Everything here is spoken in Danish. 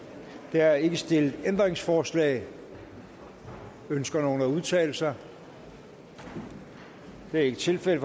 der er ikke stillet ændringsforslag ønsker nogen at udtale sig det er ikke tilfældet